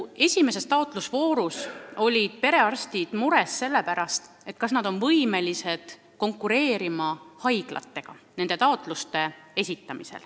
Esimese taotlusvooru puhul olid perearstid mures, kas nad on võimelised taotlusi esitades haiglatega konkureerima.